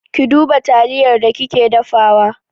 Ki duba taliyar da kike dafawa!